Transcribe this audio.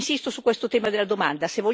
Insisto su questo tema della domanda.